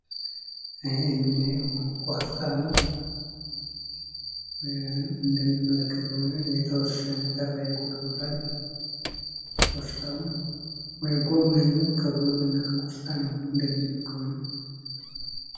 ይሄ ምናየው ቆስጣና እንደምንመለከተው የተወሰነ ተባይ ጎርቶታል ቆስጣውን ወይ ከጎመንና ከቆስጣ ነው እንደምናየው ከሆነ።